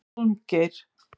Hólmgeir